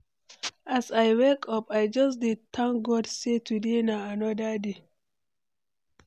As I wake up, I just dey thank God sey today na anoda day.